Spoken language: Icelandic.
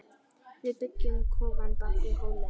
Við byggjum kofann bak við hólinn.